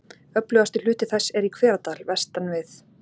Öflugasti hluti þess er í Hveradal vestan við